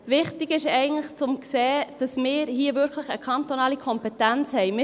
Wichtig ist eigentlich, zu sehen, dass wir hier wirklich eine kantonale Kompetenz haben.